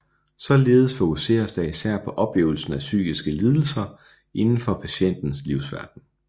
Således fokuseres der især på oplevelsen af psykiske lidelser inden for patientens livsverden